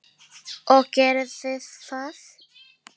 Og gerið þið það?